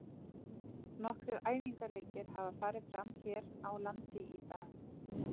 Nokkrir æfingaleikir hafa farið fram hér á landi í dag.